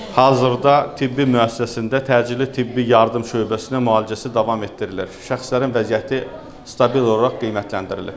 Hazırda tibbi müəssisəsində təcili tibbi yardım şöbəsinə müalicəsi davam etdirilir, şəxslərin vəziyyəti stabil olaraq qiymətləndirilir.